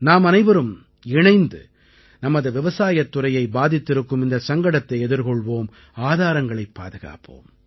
நாமனைவரும் இணைந்து நமது விவசாயத்துறையை பாதித்திருக்கும் இந்தச் சங்கடத்தை எதிர்கொள்வோம் ஆதாரங்களைப் பாதுகாப்போம்